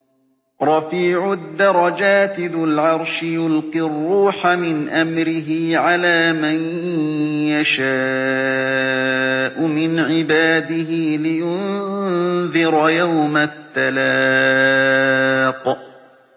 رَفِيعُ الدَّرَجَاتِ ذُو الْعَرْشِ يُلْقِي الرُّوحَ مِنْ أَمْرِهِ عَلَىٰ مَن يَشَاءُ مِنْ عِبَادِهِ لِيُنذِرَ يَوْمَ التَّلَاقِ